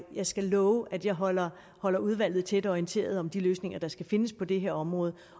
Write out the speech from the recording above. jeg skal love at jeg holder holder udvalget tæt orienteret om de løsninger der skal findes på det her område